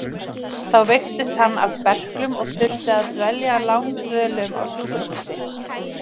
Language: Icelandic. Þá veiktist hann af berklum og þurfti að dvelja langdvölum á sjúkrahúsi.